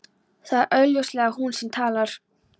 Það er augljóslega hún sem talar.